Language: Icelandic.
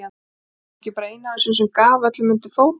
Var hún ekki bara ein af þessum sem gaf öllum undir fótinn.